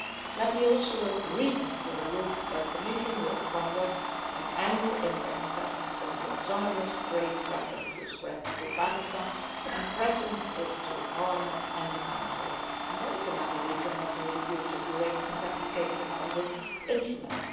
Let me also reassure you that the Commission will conduct an annual impact assessment on the autonomous trade preferences granted to Pakistan and present it to Parliament and the Council, and that is another reason not to reduce the duration of application of this instrument.